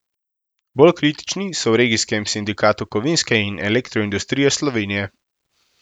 Bolj kritični so v regijskem sindikatu kovinske in elektroindustrije Slovenije.